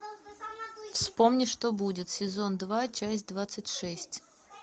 вспомни что будет сезон два часть двадцать шесть